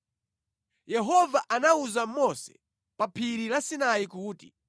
Yehova anawuza Mose pa phiri la Sinai kuti,